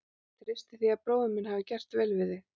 Ég treysti því að bróðir minn hafi gert vel við þig.